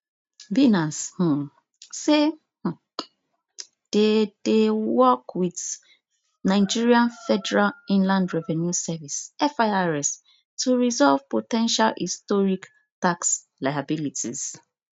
binance um say um dem dey work with nigeria federal inland revenue service firs to resolve po ten tial historic tax liabilities